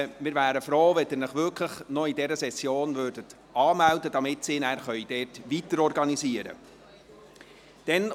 Wir wären froh, wenn Sie sich wirklich noch während dieser Session anmelden könnten, damit weiterorganisiert werden kann.